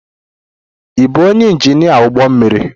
Ị bụ onye injinia ụgbọ mmiri?